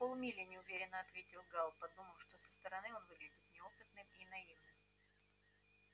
полмили неуверенно ответил гаал подумав что со стороны он выглядит неопытным и наивным